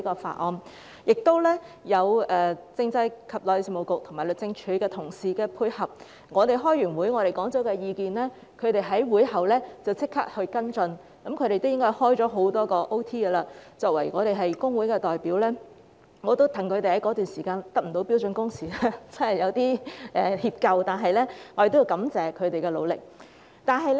此外，我們亦得到政制及內地事務局和律政司同事的配合，我們在會上提出意見後，他們便在會後立即跟進，應該有很多天也在加班，我們作為工會的代表，他們在該段時間不能實行標準工時，我們也感到有點歉疚，我們要感謝他們的努力。